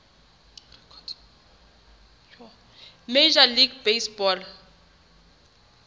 major league baseball